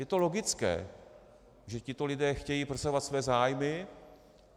Je to logické, že tito lidé chtějí prosazovat své zájmy.